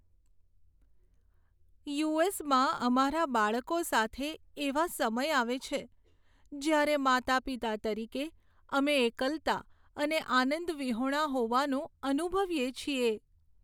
You. S. માં અમારા બાળકો સાથે, એવા સમય આવે છે, જ્યારે માતાપિતા તરીકે અમે એકલતા અને આનંદ વિહોણા હોવાનું અનુભવીએ છીએ.